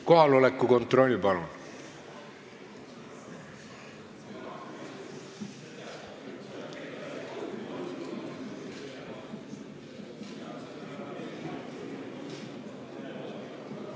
Kohaloleku kontroll, palun!